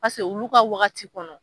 Pase olu ka waagati kɔnɔ.